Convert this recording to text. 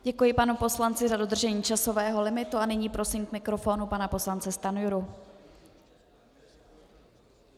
Děkuji panu poslanci za dodržení časového limitu a nyní prosím k mikrofonu pana poslance Stanjuru.